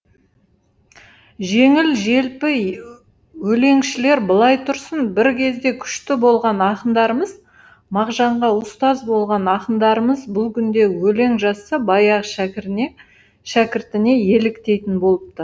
жеңіл желпі өлеңшілер былай тұрсын бір кезде күшті болған ақындарымыз мағжанға ұстаз болған ақындарымыз бұл күнде өлең жазса баяғы шәкіртіне еліктейтін болыпты